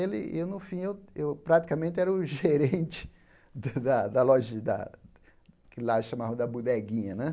Ele e, no fim, eu praticamente era o gerente da da loji da, que lá chamavam da Budeguinha. Né